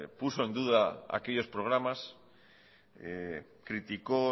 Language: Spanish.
puso en duda aquellos programas criticó